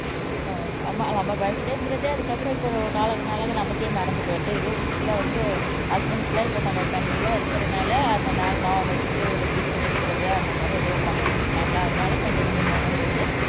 ஓ நம்ம பர்த்டேங்கறதே அதுக்கப்புறம் இப்ப நாளாக நாளாக நமக்கே மறந்துட்டு வருது எதோ வீட்டுல வந்து ஹஸ்பெண்ட்ஸ் எல்லாம் இப்ப கொஞ்சம் பிரென்டலியா இருக்கறதுனால அந்த நாள் ஞாபகம் வச்சுட்டு ஒரு கிப்ட் கொடுக்கிறது அந்த மாதிரி ஏதோ பண்ணிக்கிட்டு இருக்காங்க அதனால கொஞ்சம் கொஞ்சம் மெமரி வருது